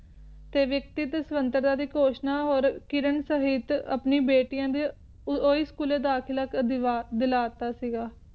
ਸੈਵਿਕਟਿਕ ਸਨਾਤਕ ਦੀ ਘੋਸ਼ਣਾ ਕਿਰਨ ਸਾਹੀਤ ਆਪਣੀ ਬੈਟੀਆਂ ਊ ਦਾਖਲਾ ਦਿਲਾਂ ਕਾਰਾ ਦਿੱਤਾ ਸੀ ਗਏ